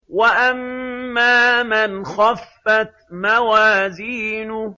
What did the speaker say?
وَأَمَّا مَنْ خَفَّتْ مَوَازِينُهُ